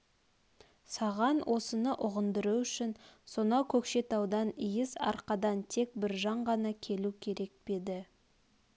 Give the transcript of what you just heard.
саған осыны ұғындыру үшін сонау көкшетаудан иіс арқадан тек біржан ғана келу керек пе еді